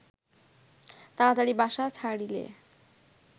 তাড়াতাড়ি বাসা ছাড়িলে